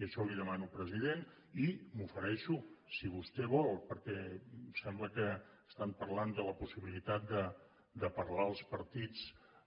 i això li demano president i m’ofereixo si vostè vol perquè sembla que estan parlant de la possibilitat de parlar els partits